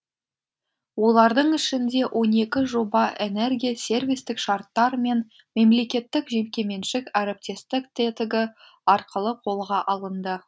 олардың ішінде он екі жоба энергия сервистік шарттар мен мемлекеттік жекеменшік әріптестік тетігі арқылы қолға алынды